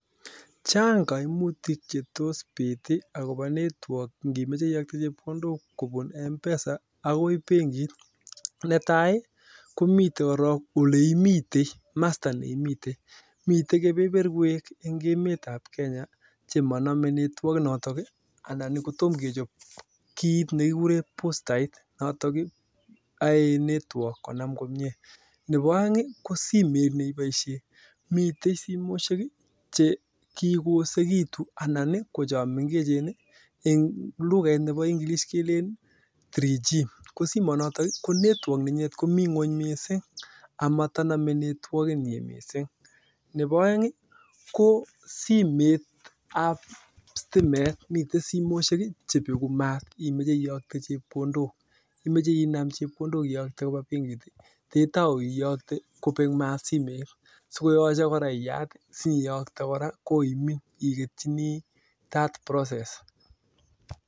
Chang kaimutik che tos piit akobo network ngimoche iyokte chepkondok kobun mpesa akoi benkit netai komitei korik oleimitei kamasta neimite mite kebeberwek eng emet ap Kenya chemaname network notok anan kotomkechop kiit nekikuren bustait notok oei network konam komie nebo oeng ko simet neiboishe mitei simoshek che kikoosekitu anan ko cho mengechen eng luket nebo ingilish kelen 3G ko simonoto ko network nenyinet komi ng'weny mising amatanomei netwokit missing nebo oeng ko simet ap stimet mite simoshek chepeku maat imoche iyokte chepkondok imoche inam chepkondok iyokte koba benkit ketou iyokte kopek maat simet sikoyoche kora iyat siyokte kora koimin iketchini that process